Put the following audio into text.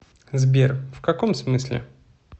сбер в каком смысле